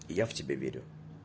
я в тебя верю